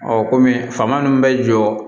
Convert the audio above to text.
kɔmi faama ninnu bɛ jɔ